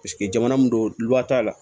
jamana mun don liwari t'a la